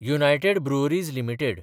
United Breweries limited